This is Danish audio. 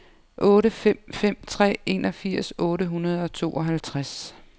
otte fem fem tre enogfirs otte hundrede og tooghalvtreds